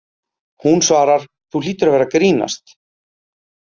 Hún svarar: Þú hlýtur að vera að grínast.